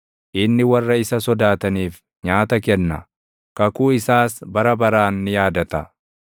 Inni warra isa sodaataniif nyaata kenna; kakuu isaas bara baraan ni yaadata.